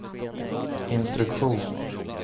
instruktion